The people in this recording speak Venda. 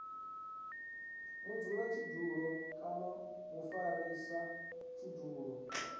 mudzulatshidulo kana na mufarisa mudzulatshidulo